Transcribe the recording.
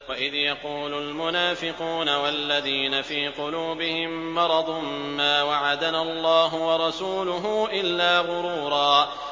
وَإِذْ يَقُولُ الْمُنَافِقُونَ وَالَّذِينَ فِي قُلُوبِهِم مَّرَضٌ مَّا وَعَدَنَا اللَّهُ وَرَسُولُهُ إِلَّا غُرُورًا